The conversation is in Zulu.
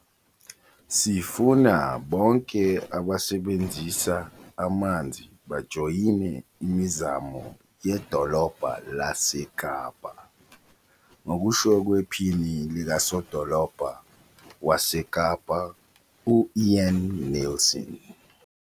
"Sifuna bonke abasebenzisa amanzi bajoyine imizamo ye-Dolobha laseKapa," ngokusho kwePhini likaSodolobha waseKapa u-Ian Neilson.